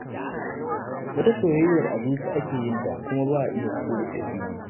Wata soyyayyar a zuci ake yinta kuma ba a iya fito da ita fili.